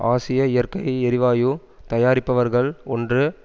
ஆசிய இயற்கை எரிவாயு தயாரிப்பவர்கள் ஒன்று